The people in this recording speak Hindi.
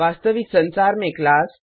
वास्तविक संसार में क्लास